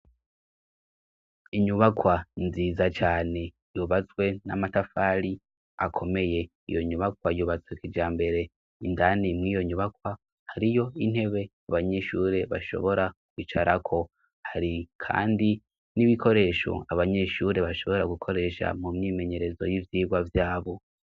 Inyubakwa nziza cane yubatswe n'amatafari akomeye. Iyo nyubakwa yubatse kijambere, indani mw'iyo nyubakwa, hariyo intebe abanyeshure bashobora kwicarako. Hari kandi n'ibikoresho abanyeshuri bashobora gukoresha mu mwimenyerezo y'ivyirwa vyabo.